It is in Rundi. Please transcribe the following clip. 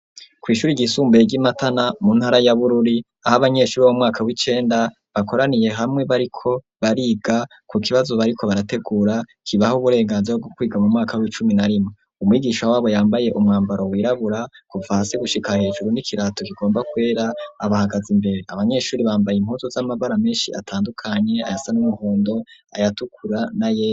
Kw' ishuri ry isumbuye ry'iMatana mu ntara ya Bururi ,ah' abanyeshuri b'umwaka w'icenda bakoraniye hamwe bariko bariga ku kibazo bariko barategura kibaho uburenganzira bwo kwiga mu mwaka w'icumi na rimwe, umwigisha wabo yambaye umwambaro wirabura kuva hasi gushika hejuru n'ikirato kigomba kwera abahagaze imbere ,abanyeshuri bambaye impuzu z'amabara menshi atandukanye ayasa n' umuhondo ayatukura n'ayera.